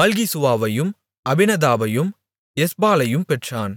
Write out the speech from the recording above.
மல்கிசூவாவையும் அபினதாபையும் எஸ்பாலையும் பெற்றான்